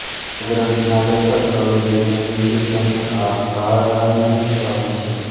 આ ગ્રન્થના લેખક કવિ બિન હિન્દી સંત આધારાનંદ સ્વામી છે